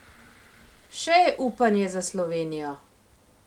Še je upanje za Slovenijo!